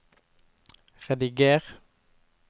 rediger